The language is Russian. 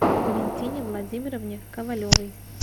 валентине владимировне ковалевой